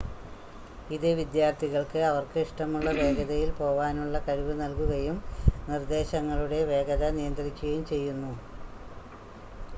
ഇത് വിദ്യാർത്ഥികൾക്ക് അവർക്ക് ഇഷ്ടമുള്ള വേഗതയിൽ പോവാനുള്ള കഴിവ് നൽകുകയും നിർദ്ദേശങ്ങളുടെ വേഗത നിയന്ത്രിക്കുയും ചെയ്യുന്നു